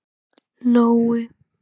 Nói